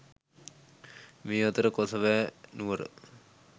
මේ අතර කොසඹෑ නුවර